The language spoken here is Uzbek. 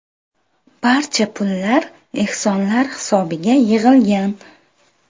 Barcha pullar ehsonlar hisobiga yig‘ilgan.